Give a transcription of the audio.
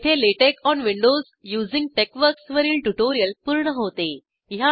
येथे LaTeX on Windows using TeXworks वरील tutorial पूर्ण होते